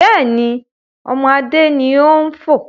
Bẹ́ẹ̀ni, ọmọ Adé ni ó ń fò